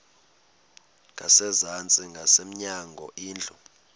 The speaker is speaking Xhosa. ngasezantsi ngasemnyango indlu